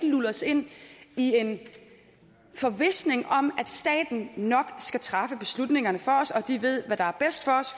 lulles ind i en forvisning om at staten nok skal træffe beslutningerne for os og at den ved hvad der er bedst for os